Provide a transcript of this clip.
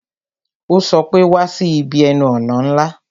Ó sọ pé "Wá sí ibi ẹnu ọ̀nà ńlá"